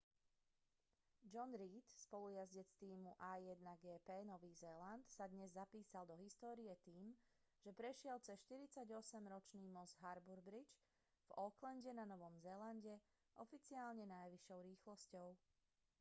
john reid spolujazdec z tímu a1gp nový zéland sa dnes zapísal do histórie tým že prešiel cez 48-ročný most harbour bridge v aucklande na novom zélande oficiálne najvyššou rýchlosťou